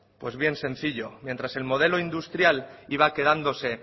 pues bien sencillo mientras el modelo industrial iba quedándose